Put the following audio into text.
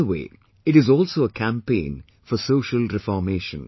In a way, it is also a campaign for social reformation